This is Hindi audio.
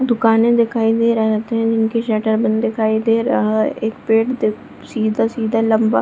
दुकाने दिखाई दे रहत थे जिनकी शटर बंद दिखाई दे रहा है एक पेड़ देख सीधा-सीधा लम्बा --